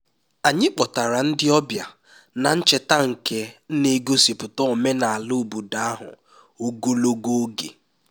anyị kpọtara ndị ọbịa na ncheta nke na-egosipụta omenala obodo ahụ ogologo oge